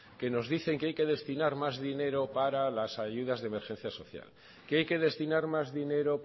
que nos dicen que hay que destinar más dinero para las ayudas de emergencia social que hay que destinar más dinero